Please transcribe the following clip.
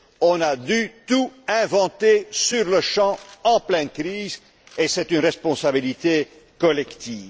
On a dû tout inventer sur le champ, en pleine crise, et c'est une responsabilité collective.